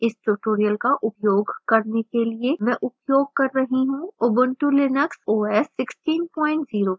इस tutorial का उपयोग करने के लिए मैं उपयोग कर रही हूँ: ubuntu linux os 1604